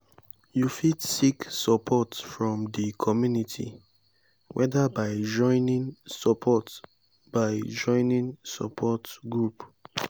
you fit seek support from di community whether by joining support by joining support group.